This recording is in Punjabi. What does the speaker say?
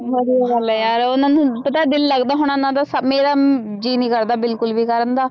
ਵਧੀਆ ਗੱਲ ਹੈ ਯਾਰ ਉਹਨਾਂ ਨੂੰ ਪਤਾ ਦਿਲ ਲੱਗਦਾ ਹੋਣਾ ਉਹਨਾਂ ਦਾ ਮੇਰਾ ਜੀਅ ਨੀ ਕਰਦਾ ਬਿਲਕੁਲ ਵੀ ਕਰਨ ਦਾ।